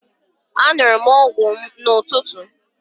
Aṅụrụ m ọgwụ m n'ụtụtụ.